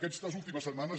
aquestes últimes setmanes